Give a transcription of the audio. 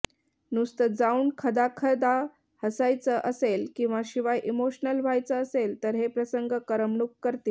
नुसतं जाऊन खदाखदा हसायचं असेल किंवा शिवाय इमोशनल व्हायचं असेल तर हे प्रसंग करमणूक करतील